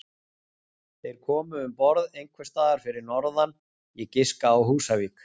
Þeir komu um borð einhvers staðar fyrir norðan, ég giska á Húsavík.